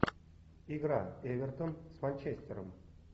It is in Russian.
игра эвертон с манчестером